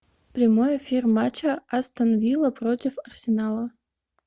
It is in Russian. прямой эфир матча астон вилла против арсенала